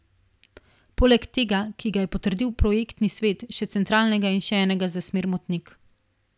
Poleg tega, ki ga je potrdil projektni svet, še centralnega in še enega za smer Motnik.